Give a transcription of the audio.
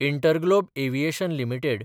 InterGlobe Aviation limited